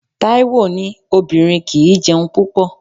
Taiwo ní obìnrin kì í jẹun púpọ̀.